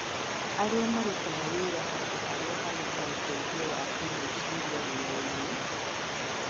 Arĩa marutaga wĩra handũ harĩa harĩ na ũteithio wa kĩĩmeciria wĩrainĩ